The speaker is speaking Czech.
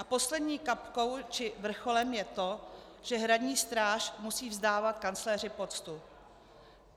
A poslední kapkou či vrcholem je to, že Hradní stráž musí vzdávat kancléři poctu.